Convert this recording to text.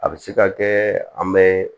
A bɛ se ka kɛ an bɛ